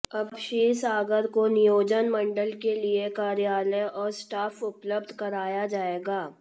अब क्षीरसागर को नियोजन मंडल के लिए कार्यालय और स्टॉफ उपलब्ध कराया जाएगा